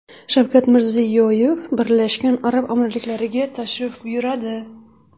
Shavkat Mirziyoyev Birlashgan Arab Amirliklariga tashrif buyuradi.